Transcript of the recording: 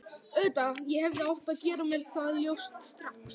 Auðvitað, ég hefði átt að gera mér það ljóst strax.